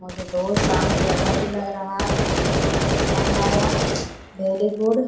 मुझे बहुत शांत जगह भी लग रहा है मुझे बहुत पसंद आया भेरी गुड --